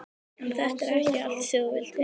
En þetta er ekki það sem þú vilt heyra.